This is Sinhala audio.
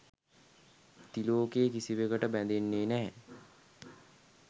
තිලෝකෙ කිසිවකට බැඳෙන්නෙ නෑ